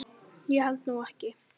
Ég held nú ekki!